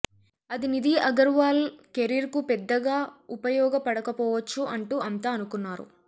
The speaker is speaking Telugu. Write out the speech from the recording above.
అది నిధి అగర్వాల్ కెరీర్కు పెద్దగా ఉపయోగపడకపోవచ్చు అంటూ అంతా అనుకున్నారు